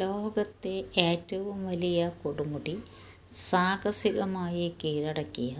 ലോകത്തെ ഏറ്റവും വലിയ കൊടുമുടി സാഹസിക മായി കീഴടക്കിയ